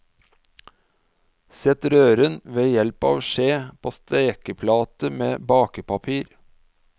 Sett røren, ved hjelp av skje, på stekeplate med bakepapir.